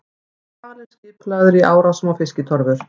Eru hvalir skipulagðir í árásum á fiskitorfur?